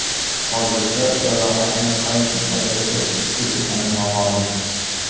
Hozircha jarohatning qay darajada jiddiy ekani noma’lum.